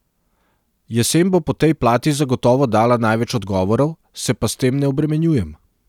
Jesen bo po tej plati zagotovo dala največ odgovorov, se pa s tem ne obremenjujem.